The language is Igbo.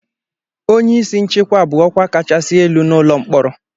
Onye isi nchịkwa bụ ọkwa kachasị elu n'ụlọ mkpọrọ.